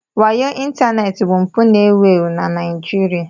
Wayo ịntanetị bụ mpụ ewu ewu na Nigeria.